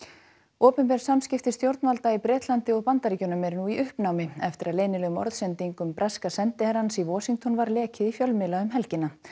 opinber samskipti stjórnvalda í Bretlandi og Bandaríkjunum eru í uppnámi eftir að leynilegum orðsendingum breska sendiherrans í Washington var lekið í fjölmiðla um helgina